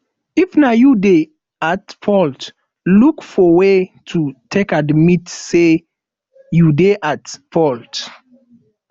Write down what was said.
if na you dey at fault look for way to take admit sey you dey at fault